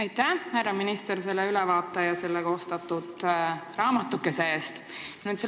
Aitäh, härra minister, ülevaate ja koostatud raamatukese eest!